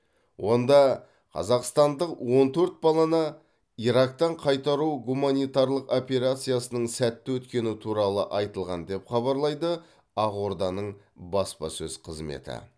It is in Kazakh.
онда қазақстандық он төрт баланы ирактан қайтару гуманитарлық операциясының сәтті өткені туралы айтылған деп хабарлайды ақорданың баспасөз қызметі